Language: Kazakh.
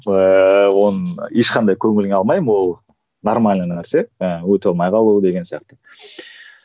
ііі оны ешқандай көңіліме алмаймын ол нормальный нәрсе ыыы өте алмай қалу деген сияқты